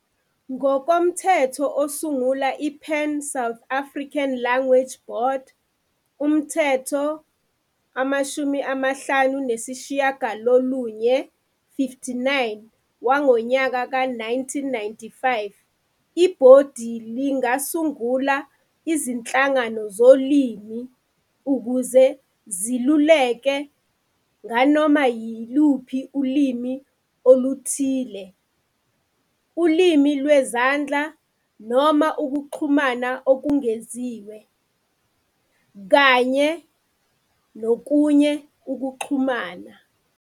Ngokomthetho osungula iPan South African Language Board, Umthetho 59 we-1995, ibhodi lingasungula izinhlangano zolimi ukuze zileluleke "nganoma yiluphi ulimi oluthile, ulimi lwezandla noma ukuxhumana okungeziwe nokwenye ukuxhumana".